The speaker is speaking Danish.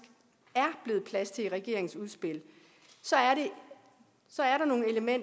er blevet plads til i regeringens udspil så er